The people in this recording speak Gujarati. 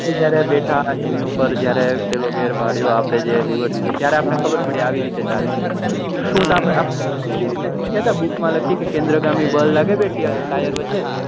જયારે બેઠા એના ઉપર જયારે આપડે પેહલો ગેર પડ્યો આપડે જે લીધું તયારે આપડને ખબર પડી કે આવી રીતે ચાલે એવી રીતે શીખ્યા કે book માં લખું કે કેન્દ્રગામી બળ લાગે બે ટાયર વચે